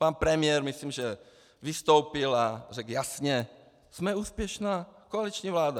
Pan premiér, myslím, že vystoupil a řekl jasně: Jsme úspěšná koaliční vláda.